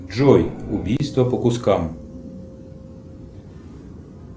джой убийство по кускам